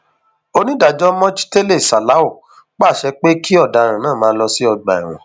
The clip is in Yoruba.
onídàájọ mojtele salau pàṣẹ pé kí ọdaràn náà máa lọ sí ọgbà ẹwọn